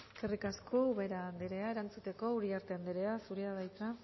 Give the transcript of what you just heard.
eskerrik asko ubera anderea erantzuteko uriarte anderea zurea da hitza